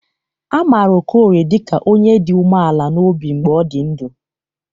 A maara Okorie dịka onye dị umeala n'obi mgbe ọ dị ndụ.